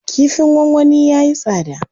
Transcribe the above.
Kifin gwangwani yayi tsada.